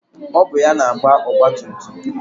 Ọ bụ ya na-agba ọgbatumtum